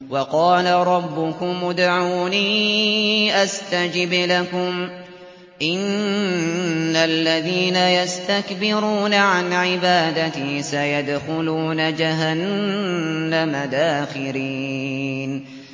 وَقَالَ رَبُّكُمُ ادْعُونِي أَسْتَجِبْ لَكُمْ ۚ إِنَّ الَّذِينَ يَسْتَكْبِرُونَ عَنْ عِبَادَتِي سَيَدْخُلُونَ جَهَنَّمَ دَاخِرِينَ